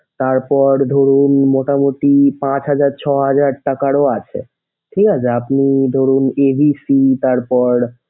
তারপর ধরুন মোটামুটি পাঁচ হাজার ছয় হাজার টাকারও আছে। ঠিক আছে আপনি ধরুন a b c তারপর,